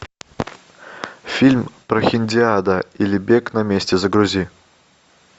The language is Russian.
фильм прохиндиада или бег на месте загрузи